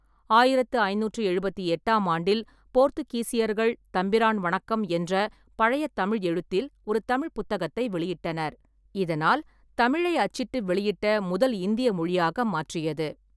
ஆயிரத்து ஐநூற்று எழுபத்தி எட்டாம் ஆண்டில், போர்த்துகீசியர்கள் 'தம்பிரான் வணக்கம்' என்ற பழைய தமிழ் எழுத்தில் ஒரு தமிழ் புத்தகத்தை வெளியிட்டனர், இதனால் தமிழை அச்சிட்டு வெளியிட்ட முதல் இந்திய மொழியாக மாற்றியது.